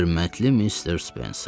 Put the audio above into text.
Hörmətli Mister Spenser.